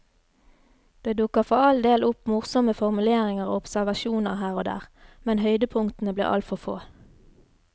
Det dukker for all del opp morsomme formuleringer og observasjoner her og der, men høydepunktene blir altfor få.